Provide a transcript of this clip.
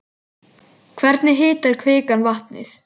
Hvernig hitar kvikan vatnið?